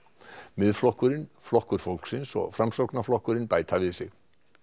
Miðflokkurinn Flokkur fólksins og Framsóknarflokkurinn bæta við sig